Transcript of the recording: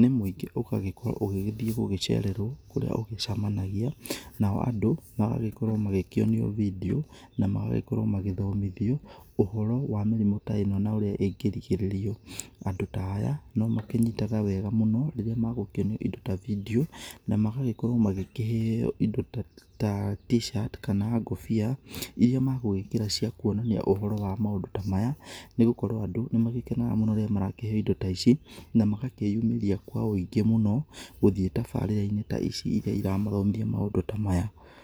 nĩ mũingĩ ũgagĩkirwo ũgĩgĩthiĩ gũgĩcererwo kũrĩa ũgĩcemanagia, nao andũ magagĩkorwo magĩkĩonio video na magakorwo magĩthomithio ũhoro wa mĩrimũ ta ino na ũrĩa ĩngĩrigĩrĩrio. Andũ ta aya no makĩnyitaga wega mũno rĩrĩa megũkĩonio indo ta video na magagĩkorwo magĩkĩheyo indo ta t-shirt kana ngũbia irĩa megũgĩkĩra cia kuonania ũhoro wa maũndũ ta maya, nĩgũkorwo andũ nĩmagũkenaga mũno rĩrĩa marakĩheyo indo ta ici, na magakĩyumĩria kwa ũingĩ mũno gũthiĩ tabarĩra-inĩ ta ici irĩa iramathomithia maũndũ ta maya.